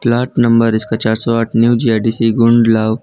plot number इसका चार सौ आठ न्यू जी_आई_डी_सी गुंडलॉ--